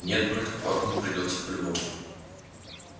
нет брат квакнуть придётся по любому